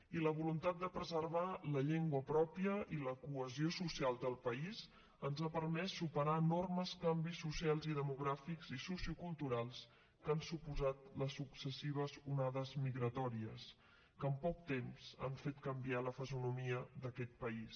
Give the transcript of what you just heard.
i la voluntat de preservar la llengua pròpia i la cohesió social del país ens ha permès superar enormes canvis socials i demogràfics i socioculturals que han suposat les successives onades migratòries que en poc temps han fet canviar la fisonomia d’aquest país